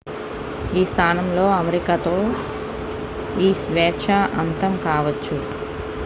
ఈ స్థానంలో అమరికతో ఈ స్వేచ్ఛ అంతం కావచ్చు